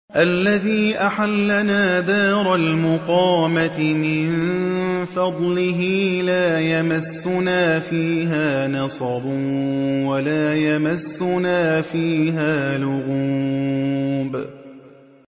الَّذِي أَحَلَّنَا دَارَ الْمُقَامَةِ مِن فَضْلِهِ لَا يَمَسُّنَا فِيهَا نَصَبٌ وَلَا يَمَسُّنَا فِيهَا لُغُوبٌ